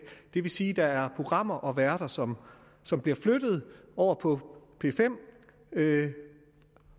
det vil sige at der er programmer og værter som som bliver flyttet over på p5